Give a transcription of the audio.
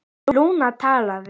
Lúna talaði: